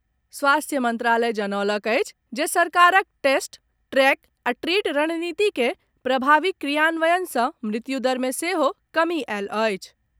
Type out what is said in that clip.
स्वास्थ्य मंत्रालय जनौलक अछि जे सरकारक टेस्ट, ट्रैक आ ट्रीट रणनीतिके प्रभावी क्रियान्वयन सॅ मृत्युदर मे सेहो कमी आयल अछि।